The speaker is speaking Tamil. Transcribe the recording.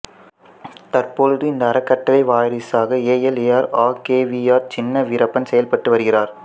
தற்பொழுது இந்த அறக்கட்டளைவாரிசாக ஏஎல் ஏஆர் ஆ K V R Chinna Veerappan செயல்பட்டு வருகிறார்